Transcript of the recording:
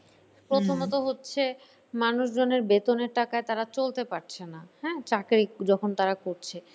প্রথমত হচ্ছে মানুষজনের বেতনের টাকায় তারা চলতে পারছে না হ্যাঁ চাকরি যখন তারা করছে